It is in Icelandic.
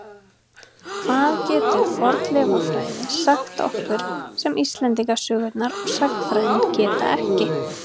Hvað getur fornleifafræði sagt okkur sem Íslendingasögurnar og sagnfræðin geta ekki?